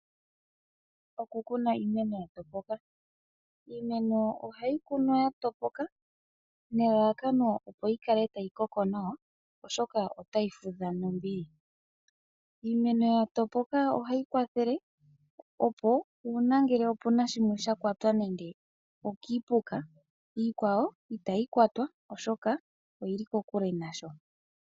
Oku kuna iimeno ya topoka, iimeno ohayi kunwa ya topoka nelalakano opo yi kale tayi koko nawa oshoka otayi fudha nombili, iimeno ya topoka ohayi kwathele opo uuna ngele opuna shimwe kwata nenge okiipuka ,iikwawo itayi kwatwa oshoka oyili kokule nayo.